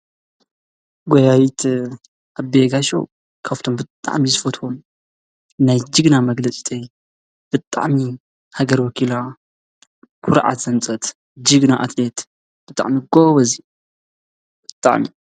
ጎያዪት ኣደይ ጋሹ ካብቶም ብጣዕሚ ዝፈትዎም ናይ ጅግና መግለፂ ብጣዕሚ ሃገር ወኪላ ኩርዓት ዘምፀት ጅግና ኣትሌት ብጣዕሚ ጎበዝ ብጣዕሚ!